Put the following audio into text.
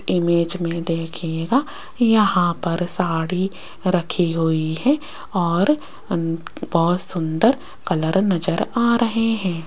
Image में देखिएगा यहां पर साड़ी रखी हुई है और बहोत सुंदर कलर नजर आ रहे हैं।